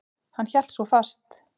Hann hélt svo fast.